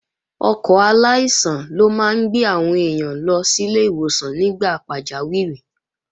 Ọkọ̀ aláìsàn ló máa ń gbé àwọn èèyàn lọ sílé ìwòsàn nígbà pàjáwìrì